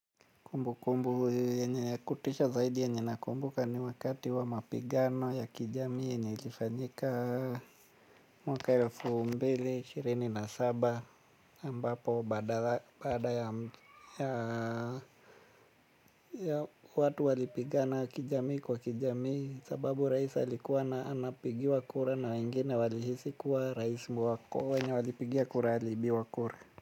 Kumbu kumbu yenye kutisha zaidi yenye nakumbuka ni wakati wa mapigano ya kijamii yenye ilifanyika mwaka elfu mbili na ishirini na saba ambapo baada ya watu walipigana kijamii kwa kijamii sababu rais alikuwa na anapigiwa kura na wengine walihisi kuwa rais wakuwa wenye alipigiwa kura aliibiwa kura.